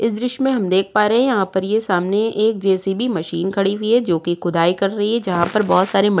इस दृश्य मे हम देख पा रहे हैं। यहाँ पर सामने एक जेसबी मशीन खड़ी हुई है जो की खुदाई कर रही है। जहाँ पर बहुत सारे म --